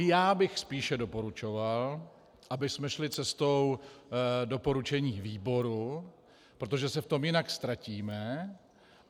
I já bych spíše doporučoval, abychom šli cestou doporučení výboru, protože se v tom jinak ztratíme.